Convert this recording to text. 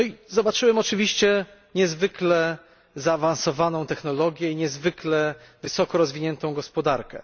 Zobaczyłem oczywiście niezwykle zaawansowaną technologię i niezwykle wysoko rozwiniętą gospodarkę.